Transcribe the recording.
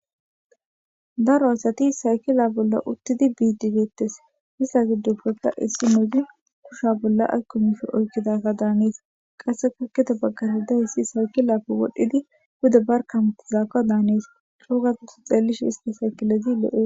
Daro asati saykile bolla uttidi diza. Diza gddoppekka issinozi kushe bolla oykididees